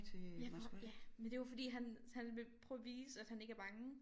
Ja hvor ja men det er jo fordi han han ville prøve at vise at han ikke er bange